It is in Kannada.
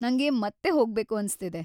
ನಂಗೆ ಮತ್ತೆ ಹೋಗ್ಬೇಕು ಅನ್ಸ್ತಿದೆ.